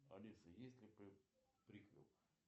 алиса есть ли приквел